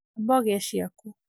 amba ũgĩe ciaku